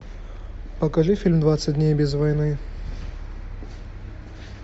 покажи фильм двадцать дней без войны